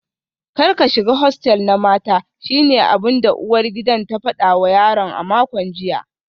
Kar ka shiga hostel na mata shine abinda uwar gidan ta fada wa yaron a makon jiya